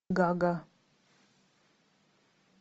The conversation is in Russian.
гага